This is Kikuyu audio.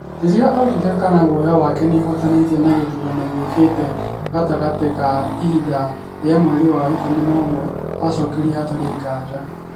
Rĩrĩa oririo kana guoya wake nĩuhutanĩtie na gĩthurano gĩũkĩte gatagatĩ ga ihinda rĩa mweri wa ikũmi na ũmwe, acokirie, Hatarĩ ngaja